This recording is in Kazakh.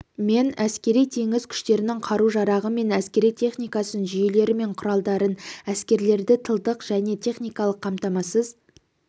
мен әскери-теңіз күштерінің қару-жарағы мен әскери техникасын жүйелері мен құралдарын әскерлерді тылдық және техникалық қамтамасыз